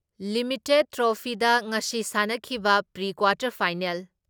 limited ꯇ꯭ꯔꯣꯐꯤꯗ ꯉꯁꯤ ꯁꯥꯟꯅꯈꯤꯕ ꯄ꯭ꯔꯤ ꯀ꯭ꯋꯥꯇꯔ ꯐꯥꯏꯅꯦꯜ